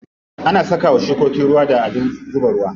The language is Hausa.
Ana saka wa shukoki ruwa da abin zuba ruwa.